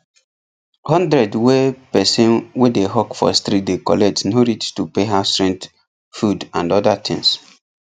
100 wey person wey dey hawk for street dey collect no reach to pay houserent food and other things